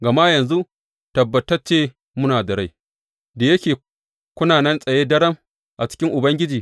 Gama yanzu tabbatacce muna da rai, da yake kuna nan tsaye daram a cikin Ubangiji.